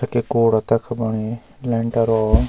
तख एक कूड़ा तख बणई लेंटर वालू --